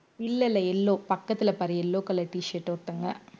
இல்ல இல்ல yellow பக்கத்துல பாரு yellow color t shirt ஒருத்தங்க